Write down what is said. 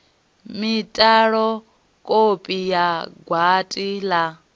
mitalo kopi ya gwati la